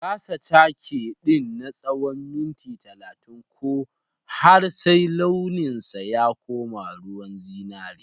Gasa cake din na tsawon minti 30 ko har sai launinsa ya koma ruwan zinari.